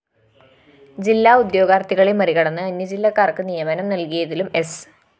ജില്ലാ ഉദ്യോഗാര്‍ത്ഥികളെ മറികടന്ന് അന്യജില്ലക്കാര്‍ക്ക് നിയമനം നല്‍കിയതിലും സ്‌